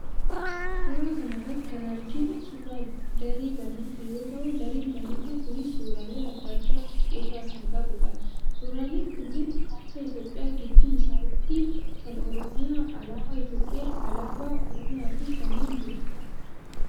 Suuraa kana irratti kan arginu suuraa daree barnootaa yoo ta'u, dareen barnootaa kunis suuraalee adda addaa of irraa kan qabudha. Suuraaleen kunis: kaartaa Itoophiyaa gidduu isaatti kan Oromiyaa, alaabaa Itoophiyaa, alaabaa Oromiyaa fi kanneen biroodha.